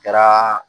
Kɛra